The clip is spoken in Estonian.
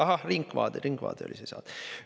Ahah, "Ringvaade", "Ringvaade" oli see saade.